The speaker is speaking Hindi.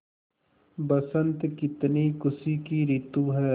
बसंत कितनी खुशी की रितु है